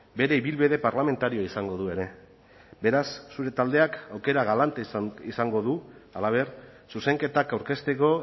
bere ibilbide parlamentarioa izango du ere beraz zure taldeak aukera galanta izango du halaber zuzenketak aurkezteko